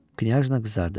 Knyajna qızardı.